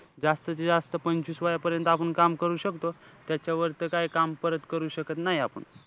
जास्तीत जास्त आपण पंचवीस वयापर्यंत आपण काम करू शकतो. त्याच्यावर तर काई काम परत करू शकत नाई आपण.